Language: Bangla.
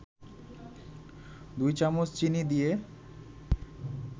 ২ চামচ চিনি দিয়ে